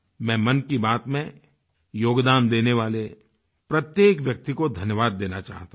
मैं मन की बात में योगदान देने वाले प्रत्येक व्यक्ति को धन्यवाद देना चाहता हूँ